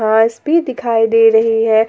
बस भी दिखाई दे रही है।